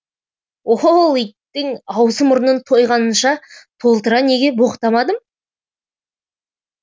ол иттің аузы мұрнын тойғанынша толтыра неге боқтамадым